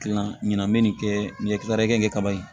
Kilan ɲinan bɛ nin kɛ nin ye kilankɛ kɛ kaba ye